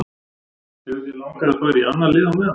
Hefur þér langað að fara í annað lið meðan?